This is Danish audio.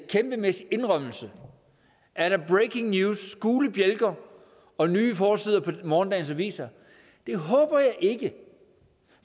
kæmpemæssig indrømmelse er der breaking news gule bjælker og nye forsider på morgendagens aviser det håber jeg ikke